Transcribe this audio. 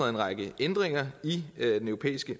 en række ændringer i den europæiske